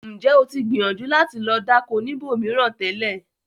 Ǹjẹ́ o tì gbíyànjú láti lo dákọ̀ níbó míran tẹlẹ̀?